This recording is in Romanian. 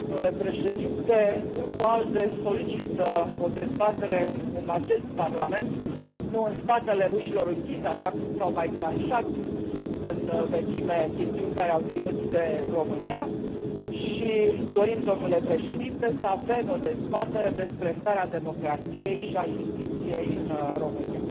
Domnule președinte, Grupul ALDE solicită o dezbatere în acest Parlament, nu în spatele ușilor închise, așa cum s au mai tranșat în vechime chestiuni care au ținut de România și dorim, domnule președinte, să avem o dezbatere despre starea democrației și a justiției în România.